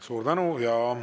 Suur tänu!